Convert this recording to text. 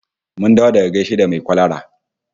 Mun dawo daga gaishe da mai kwalara